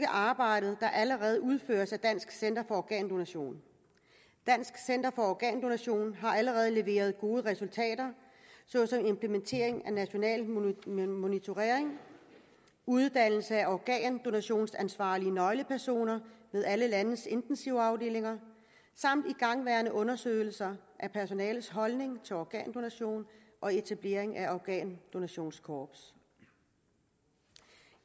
arbejde der allerede udføres af dansk center for organdonation dansk center for organdonation har allerede leveret gode resultater såsom implementering af national monitorering uddannelse af organdonationsansvarlige nøglepersoner ved alle landets intensivafdelinger samt igangværende undersøgelser af personalets holdning til organdonation og etablering af organdonationskorps